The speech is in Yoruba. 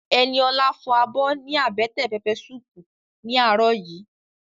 Ẹniolá fọ abọ́ ní àbẹ́tẹ̀ pẹpẹ suupu ní àárọ̀ yìí